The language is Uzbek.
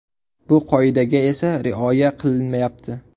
Bu qoidaga esa rioya qilinmayapti.